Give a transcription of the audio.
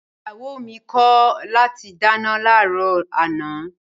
Ìyàwó mi kọ̀ láti dáná láàárọ̀ àná